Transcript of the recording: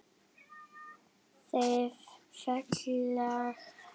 Þeir félagar hlæja dátt.